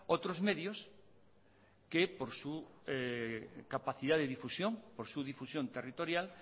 otros medios que por su capacidad de difusión por su difusión territorial